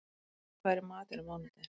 Freyþór, hvað er í matinn á mánudaginn?